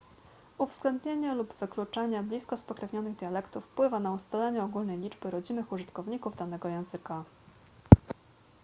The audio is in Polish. uwzględnienie lub wykluczenie blisko spokrewnionych dialektów wpływa na ustalenie ogólnej liczby rodzimych użytkowników danego języka